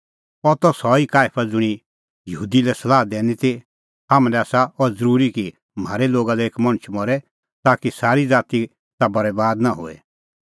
अह त सह ई काईफा ज़ुंणी यहूदी लै सलाह दैनी ती हाम्हां लै आसा अह ज़रूरी कि म्हारै लोगा लै एक मणछ मरे ताकि सारी ज़ाती ता बरैबाद नां होए